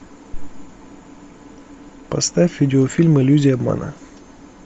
поставь видеофильм иллюзия обмана